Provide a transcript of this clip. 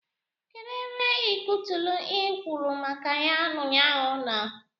Kedu ebe iketulu i kwuru maka ya ụnyaahụ nọ?